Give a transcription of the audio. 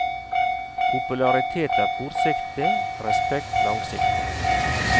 Popularitet er kortsiktig, respekt langsiktig.